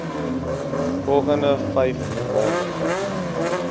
volgende vyf maande